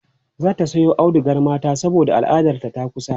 zata Sayo audugar mata saboda al'adar ta takusa